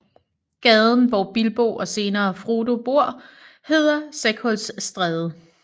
Gaden hvor Bilbo og senere Frodo bor hedder Sækhulstræde